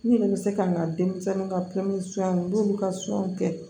N yɛrɛ bɛ se ka n ka denmisɛnninw ka n'olu ka kɛ